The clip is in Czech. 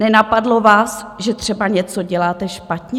Nenapadlo vás, že třeba něco děláte špatně?